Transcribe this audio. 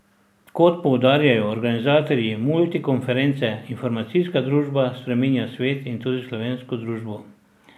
Kot poudarjajo organizatorji multikonference, informacijska družba spreminja svet in tudi slovensko družbo.